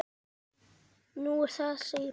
Nú, er það segir hún.